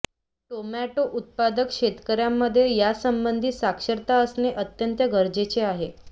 tomato उत्पादक शेतकऱ्यांमध्ये यासंबंधी साक्षरता असणे अत्यंत गरजेचे आहे